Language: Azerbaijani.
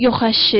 Yox əşi!